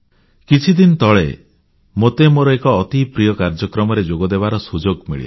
କିଛିଦିନ ତଳେ ମୋତେ ମୋର ଏକ ଅତି ପ୍ରିୟ କାର୍ଯ୍ୟକ୍ରମରେ ଯୋଗଦେବାର ସୁଯୋଗ ମିଳିଲା